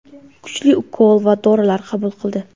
Kuchli ukol va dorilar qabul qildi.